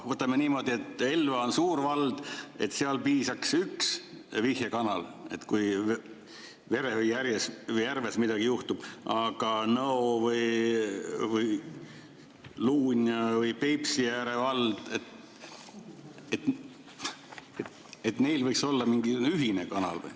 Võtame niimoodi, et Elva on suur vald, seal piisaks ühest vihjekanalist, kui Verevi järves midagi juhtub, aga Nõo või Luunja või Peipsiääre vald – neil võiks olla mingi ühine kanal.